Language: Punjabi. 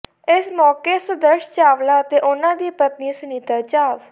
ਇਸ ਮੌਕੇ ਸੁਦਰਸ਼ ਚਾਵਲਾ ਅਤੇ ਉਨ੍ਹਾਂ ਦੀ ਪਤਨੀ ਸੁਨੀਤਾ ਚਾਵ